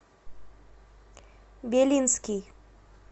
белинский